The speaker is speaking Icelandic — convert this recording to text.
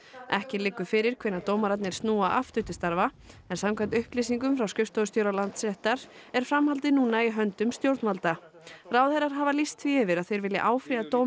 ekki liggur fyrir hvenær dómararnir snúa aftur til starfa en samkvæmt upplýsingum frá skrifstofustjóra Landsréttar er framhaldið núna í höndum stjórnvalda ráðherrar hafa lýst því yfir að þeir vilji áfrýja dómi